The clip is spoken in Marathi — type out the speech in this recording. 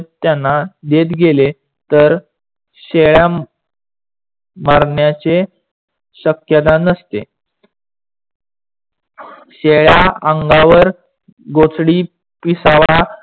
त्यांना देत गेले तर शेळ्या मरण्याचे शक्यता नसते. शेळ्या अंगावर गोचडी पिसावा